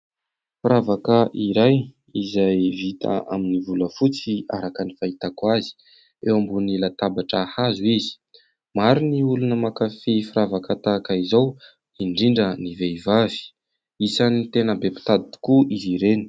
Firavaka iray izay vita amin'ny volafotsy araka ny fahitako azy, eo ambonin'ny latabatra hazo izy. Maro ny olona mankafy firavaka tahaka izao, indrindra ny vehivavy, isan'ny tena be mpitady tokoa izy ireny.